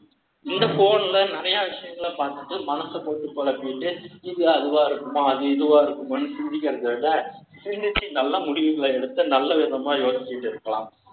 இந்த phone ல, நிறைய விஷயங்களை பார்த்துட்டு, மனச போட்டு குழப்பிட்டு இது அதுவா இருக்குமா அது, இதுவா இருக்குமான்னு சிந்திக்கிறதை விட சிந்திச்சு நல்ல முடிவுகளை எடுத்து, நல்ல விதமா யோசிச்சிட்டு இருக்கலாம்.